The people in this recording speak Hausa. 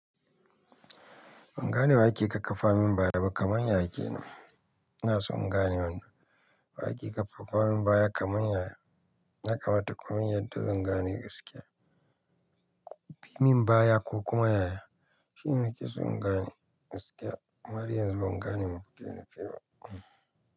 Ban gane wa yake kakkafa min baya ba kamar yaya ke nan, ina so in gane wannan. Wa yake kakkafa min baya kamar yaya, ya kamata kumin bayani yadda zan gane gaskiya. Ko fi min baya ko kuma yaya, shi ne nake so in gane gaskiya. Har yanzu ban gane me kuke nufi ba.